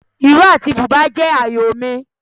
Ìró àti bùbá jẹ́ ààyò mi.